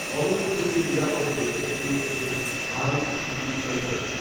কলম্বো থেকে নিরাপদে দেশে ফিরে এসেছেন, শাহরুখ, প্রীতি, সইফেরা